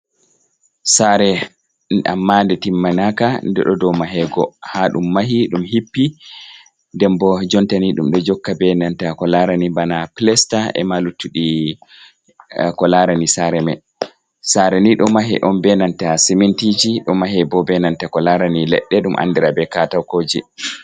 Saare ammaa nde timmanaka nde ɗo dow mahego, haa ɗum mahi ɗum hippi. Nden bo jonta ni ɗum ɗo jokka be nanta ko laarani bana pilesta e ma luttuɗi, ko larani saare may. Saare ni ɗo mahe on be nanta simintiiji, ɗo mahe bo be nanta ko laarani leɗɗe ɗum anndira be katakooji.